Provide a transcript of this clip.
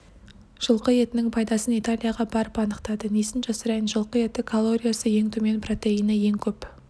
жылқы етінің пайдасын италияға барып анықтады несін жасырайын жылқы еті калориясы ең төмен протеині ең көп